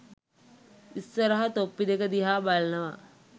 ඉස්සරහ තොප්පි දෙක දිහා බලනවා